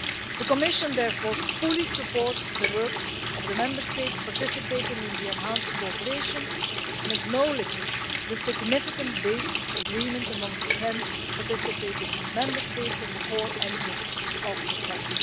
The Commission therefore fully supports the work of the Member States participating in the enhanced cooperation and acknowledges the significant basic agreement among the ten participating Member States on the core engine of the text.